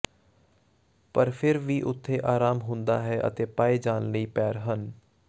ਪਰ ਫਿਰ ਵੀ ਉੱਥੇ ਆਰਾਮ ਹੁੰਦਾ ਹੈ ਅਤੇ ਪਾਏ ਜਾਣ ਲਈ ਪੈਰ ਹਨ